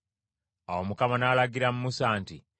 Awo Mukama n’alagira Musa nti,